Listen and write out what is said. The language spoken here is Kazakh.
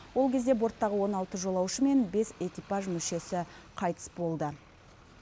ол кезде борттағы он алты жолаушы мен бес экипаж мүшесі қайтыс болды